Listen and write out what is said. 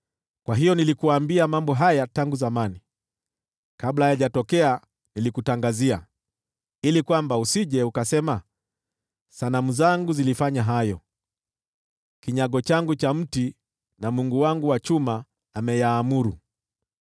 Kwa hiyo nilikuambia mambo haya tangu zamani, kabla hayajatokea nilikutangazia ili usije ukasema, ‘Sanamu zangu zilifanya hayo; kinyago changu cha mti na mungu wangu wa chuma aliyaamuru.’